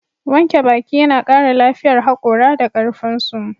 Wanke baki yana kara lafiyar hakora da karfinsu.